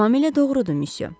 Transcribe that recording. Tamamilə doğrudur Müsyö.